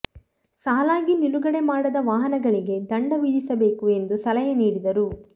ಸಾಲಾಗಿ ನಿಲುಗಡೆ ಮಾಡದ ವಾಹನಗಳಿಗೆ ದಂಡ ವಿಧಿಸಬೇಕು ಎಂದು ಸಲಹೆ ನೀಡಿದರು